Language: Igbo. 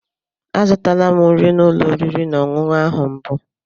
Azụtala m nri n'ụlọ oriri na ọṅụṅụ ahụ mbụ.